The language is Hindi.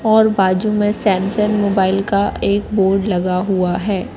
और बाजू में सैमसंन मोबाइल का एक बोर्ड लगा हुआ है।